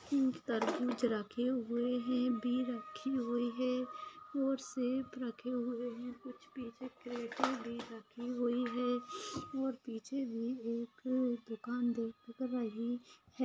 Fruit टरबुज रखे हुए है बी रखी हुई है और सेफ रखे हुए है कुछ पीछे क्रेट्‌ भी रखी हुई है और पीछे भी एक दुकान दिख रही है।